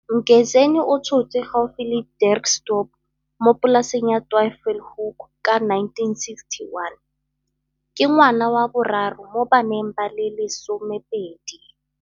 Mgezeni o tshotswe gaufi le Dirksdorp mo polaseng ya Twyfelhoek ka 1961. Ke ngwana wa boraro mo baneng ba le lesemopedi.